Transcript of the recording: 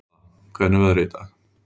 Stella, hvernig er veðrið í dag?